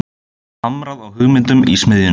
Hamrað á hugmyndum í smiðjunni